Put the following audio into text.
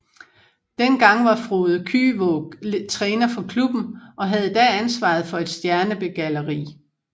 Den gang var Frode Kyvåg træner for klubben og havde da ansvaret for et stjernbegalleri